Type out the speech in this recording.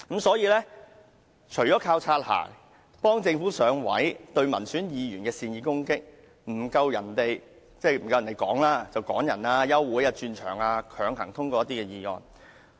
所以，除了靠"擦鞋"、幫助政府"上位"、肆意攻擊民選議員、爭辯時處下風便趕人離場、休會和轉換會議場地，以求強行通過一些議案。